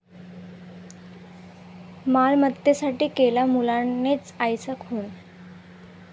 मालमत्तेसाठी केला मुलानेच आईचा खून